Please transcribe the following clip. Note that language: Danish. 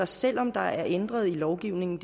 selv om der er ændret i lovgivningen